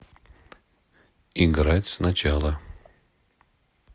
играть сначала